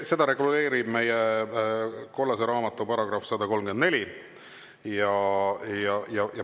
Seda reguleerib meie kollase raamatu § 134.